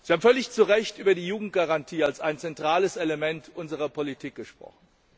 Sie haben völlig zu Recht über die Jugendgarantie als ein zentrales Element unserer Politik gesprochen.